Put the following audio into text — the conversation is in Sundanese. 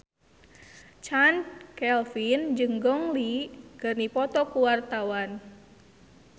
Chand Kelvin jeung Gong Li keur dipoto ku wartawan